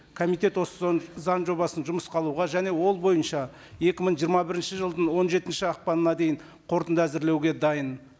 комитет осы заң жобасын жұмысқа алуға және ол бойынша екі мың жиырма бірінші жылдың он жетінші ақпанына дейін қорытынды әзірлеуге дайын